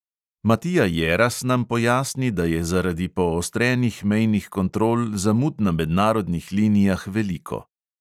Matija jeras nam pojasni, da je zaradi poostrenih mejnih kontrol zamud na mednarodnih linijah veliko.